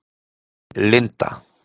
Linda